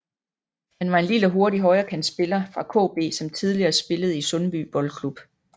Han var en lille og hurtig højrekantspiller fra KB som tidligere spillede i Sundby Boldklub